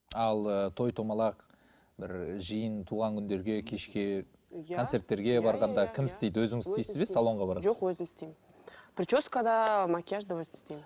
ал ы той домалақ бір жиын туған күндерге кешке концерттерге барғанда кім істейді өзіңіз істейсіз бе салонға барасыз ба жоқ өзім істеймін прическа да макияж да өзім істеймін